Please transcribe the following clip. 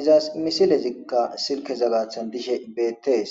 izas misilezikka silke zagaathan dishe beettees